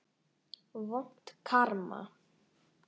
Vont karma.